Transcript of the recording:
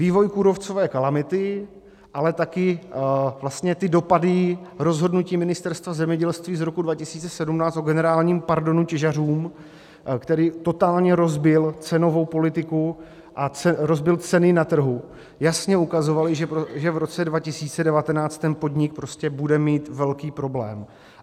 Vývoj kůrovcové kalamity, ale také vlastně ty dopady rozhodnutí Ministerstva zemědělství z roku 2017 o generálním pardonu těžařům, který totálně rozbil cenovou politiku a rozbil ceny na trhu, jasně ukazovaly, že v roce 2019 ten podnik bude mít velký problém.